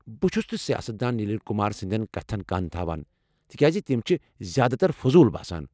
بہٕ چھس نہٕ سیاست دان نلین کمار سٕنٛدٮ۪ن کتھن کَن تھوان تکیٛاز تم چھ زیادٕ تر فضوٗل باسان۔